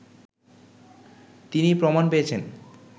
তিনি প্রমাণ পেয়েছেন